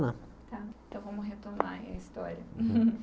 Lá tá então, vamos retornar à minha história.